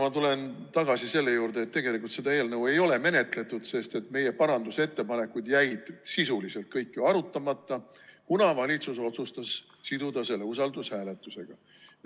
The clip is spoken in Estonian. Ma tulen tagasi selle juurde, et tegelikult seda eelnõu ei ole menetletud, sest meie parandusettepanekud jäid sisuliselt kõik arutamata, kuna valitsus otsustas siduda selle usaldushääletusega.